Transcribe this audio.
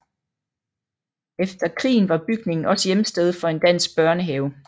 Efter krigen var bygningen også hjemsted for en dansk børnehave